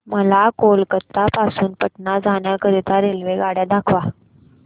मला कोलकता पासून पटणा जाण्या करीता रेल्वेगाड्या दाखवा